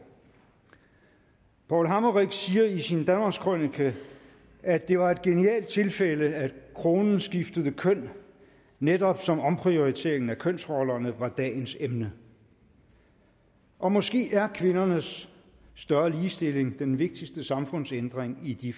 paul hammerich siger i sin danmarkskrønike at det var et genialt tilfælde at kronen skiftede køn netop som omprioriteringen af kønsrollerne var dagens emne og måske er kvindernes større ligestilling den vigtigste samfundsændring i de